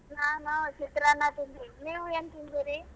ನಾನು ಚಿತ್ರಾನ್ನ ತಿಂದಿವಿ ನೀವ್ ಎನ್ ತಿಂದಿರಿ?